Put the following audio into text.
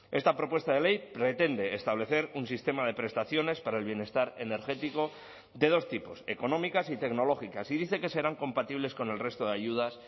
esta propuesta de ley pretende establecer un sistema de prestaciones para el bienestar energético de dos tipos económicas y tecnológicas y dice que serán compatibles con el resto de ayudas